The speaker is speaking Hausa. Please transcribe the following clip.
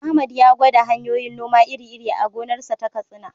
Ahmad ya gwada hanyoyin noma iri-iri a gonarsa ta Katsina.